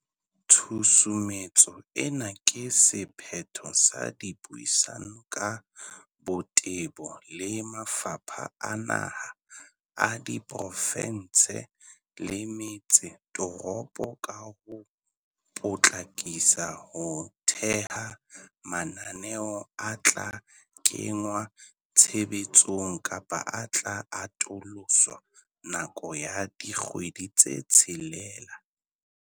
Tshusumetso ena ke se phetho sa dipuisano ka botebo le mafapha a naha, a diprofe nse le metse toropo ka ho po tlakisa ho theha mananeo a tla kengwa tshebetsong kapa a tla atoloswa nakong ya dikgwedi tse tshelela.